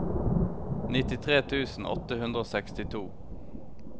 nittitre tusen åtte hundre og sekstito